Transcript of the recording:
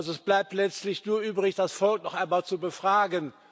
Es bleibt also letztlich nur übrig, das Volk noch einmal zu befragen.